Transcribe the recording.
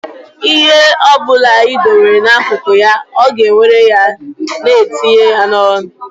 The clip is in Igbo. Ihe ọ ọbụla ị dowere n'akụkụ ya, ọ ga-ewere ya na etinye n'ọnụ ya